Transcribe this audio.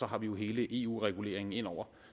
har hele eu reguleringen inde over